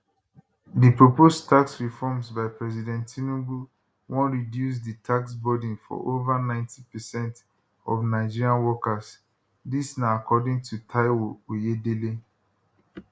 di proposed tax reforms by president tinubu wan reduce di tax burden for ova 90 percent of nigerian workers dis na according to taiwo oyedele